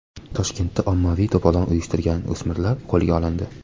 Toshkentda ommaviy to‘polon uyushtirgan o‘smirlar qo‘lga olindi.